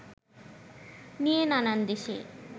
নিয়ে নানান দেশে